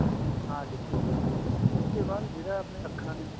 hard disk ਹੋ ਗਿਆ ਉਸ ਦੇ ਬਾਅਦ ਜਿਹੜੀਆਂ ਆਪਣੀਆਂ ਅੱਖਾਂ ਨੇ